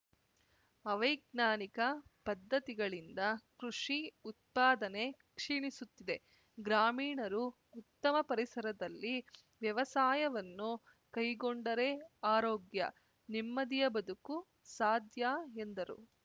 ಅವೈಜ್ಞಾನಿಕ ಪದ್ಧತಿಗಳಿಂದ ಕೃಷಿ ಉತ್ಪಾದನೆ ಕ್ಷಿಣಿಸುತ್ತಿದೆ ಗ್ರಾಮೀಣರು ಉತ್ತಮ ಪರಿಸರದಲ್ಲಿ ವ್ಯವಸಾಯವನ್ನು ಕೈಗೊಂಡೆರೆ ಆರೋಗ್ಯ ನೆಮ್ಮದಿಯ ಬದುಕು ಸಾಧ್ಯ ಎಂದರು